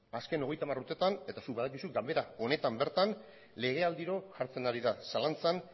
azken hogeita hamar urtetan eta zuk badakizu ganbera honetan bertan legealdiro jartzen ari da zalantzan